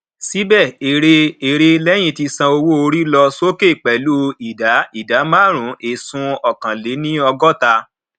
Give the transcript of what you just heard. síbè ère ère leyin ti san owó orí lọ sókè pelu idà idà marun esun ọkàn lè ní ogota